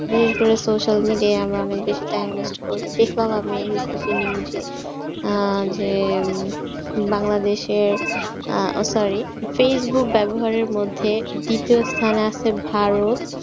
বিশেষ করে social media এ আমরা অনেক বেশি time waste করি দেখলাম আমি news এ আহ যে বাংলাদেশের আহ sorry facebook ব্যবহারের মধ্যে দ্বিতীয় স্থানে আসছে ভারত,